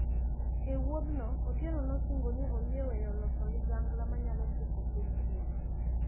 Ewuodhno Otieno nosingo ni oyie weyo loso ligangla manyalo tieko piny ngima.